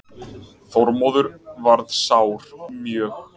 Þormóður varð sár mjög.